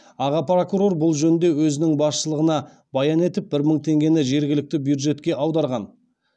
аға прокурор бұл жөнінде өзінің басшылығына баян етіп бір мың теңгені жергілікті бюджетке аударған